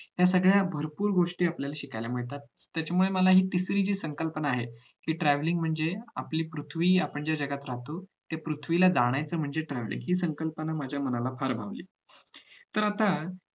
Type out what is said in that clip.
हे सगळ्या भरपूर गोष्टी आपल्याला शिकायला मिळतात त्याच्यामुळे मला हि तिसरी जी संकल्पना आहे कि travelling म्हणजे आपली पृथ्वी आपण ज्या जगात राहतो त्या पृथ्वीला जाणायच म्हणजे travelling हि संकल्पना माझ्या मनाला फार आवडलीये तर आता